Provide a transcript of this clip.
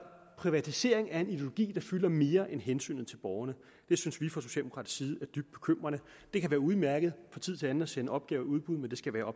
privatisering er en ideologi der fylder mere end hensynet til borgerne det synes vi fra socialdemokratiets side er dybt bekymrende det kan være udmærket fra tid til anden at sende opgaver i udbud men det skal være